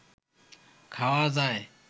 খাওয়া যায়